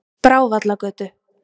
Brávallagötu